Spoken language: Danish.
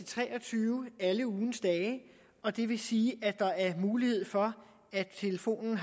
tre og tyve alle ugens dage og det vil sige at der er mulighed for at telefonen